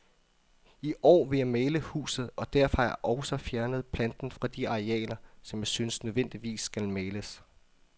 I år vil jeg male huset, og derfor har jeg også fjernet planten fra de arealer, som jeg synes nødvendigvis skal males.